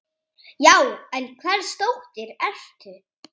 Já, en hvers dóttir ertu?